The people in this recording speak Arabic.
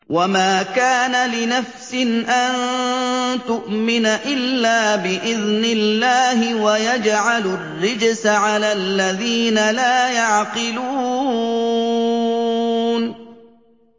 وَمَا كَانَ لِنَفْسٍ أَن تُؤْمِنَ إِلَّا بِإِذْنِ اللَّهِ ۚ وَيَجْعَلُ الرِّجْسَ عَلَى الَّذِينَ لَا يَعْقِلُونَ